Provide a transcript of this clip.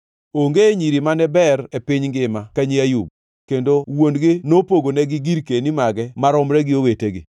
Onge nyiri mane ber e piny ngima ka nyi Ayub, kendo wuon-gi nopogonegi girkeni mage maromre gi owetegi.